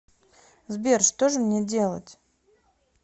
сбер что же мне делать